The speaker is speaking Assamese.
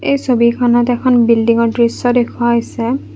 এই ছবিখনত এখন বিল্ডিং ৰ দৃশ্য দেখুওৱা হৈছে।